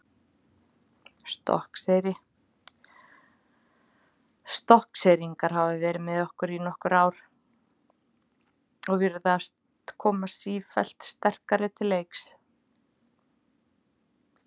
Stokkseyri Stokkseyringar hafa verið með í nokkur ár og virðast koma sífellt sterkari til leiks.